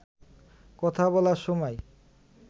কথা বলার সময়